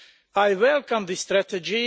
I welcome this strategy